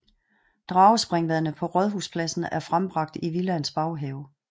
Dragespringvandet på Rådhuspladsen er frembragt i Villaens baghave